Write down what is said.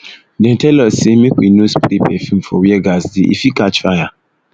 dem dem tell us sey make we no spray perfume for where gas dey e fit catch fire